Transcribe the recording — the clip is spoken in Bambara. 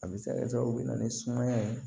A bɛ se ka kɛ sababu bɛ na ni sumaya ye